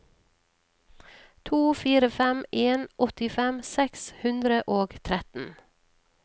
to fire fem en åttifem seks hundre og tretten